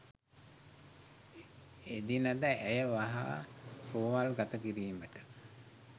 එදිනද ඇය වහා රෝහල් ගත කිරීමට